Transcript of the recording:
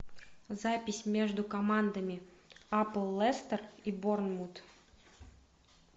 запись между командами апл лестер и борнмут